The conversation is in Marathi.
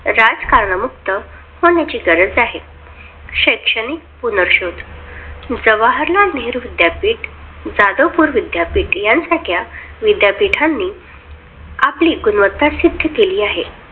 राजकारणमुक्त होण्याची गरज आहे. शैक्षणिक पुनर्शोध जवाहरलाल नेहरु विद्यापीठ, जाधवपूर विद्यापीठ यासारख्या विद्यापीठांनी आपली गुणवत्ता सिद्ध केली आहे.